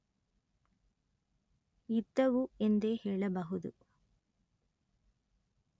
ಇದ್ದುವು ಎಂದೇ ಹೇಳಬಹುದು